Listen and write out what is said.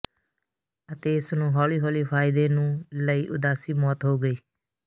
ਅਤੇ ਇਸ ਨੂੰ ਹੌਲੀ ਹੌਲੀ ਫਾਇਦੇਨੂੰ ਲਈ ਉਦਾਸੀ ਮੌਤ ਹੋ ਗਈ